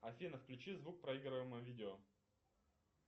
афина включи звук проигрываемого видео